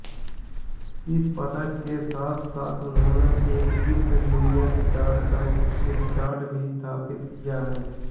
इस पदक के साथ साथ उन्होंने एक विश्व जूनियर रिकॉर्ड भी स्थापित किया है